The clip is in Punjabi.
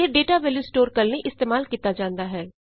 ਇਹ ਡਾਟਾ ਵੈਲਯੂ ਸਟੋਰ ਕਰਨ ਲਈ ਇਸਤੇਮਾਲ ਕੀਤਾ ਜਾਂਦਾ ਹੈ